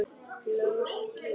Norskir menn.